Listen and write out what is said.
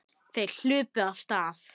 Þeir hlupu af stað.